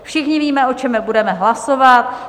Všichni víme, o čem budeme hlasovat.